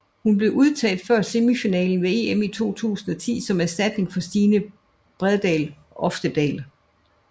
Hun blev udtaget før semifinalen ved EM i 2010 som erstatning for Stine Bredal Oftedal